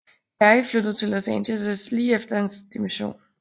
Perry flyttede til Los Angeles lige efter hans dimission